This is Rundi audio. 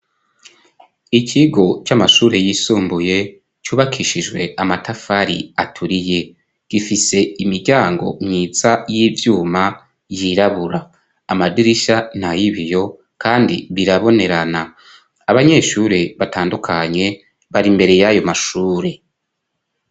Ikigo c'amashure yisumbuye cubakishijwe amatafari aturiye. Gifise imiryango myiza y'ivyuma yirabura. Amadirishya nay'ibiyo, kandi birabonerana. Abanyeshure batandukanye bari imbere y'ayo mashure.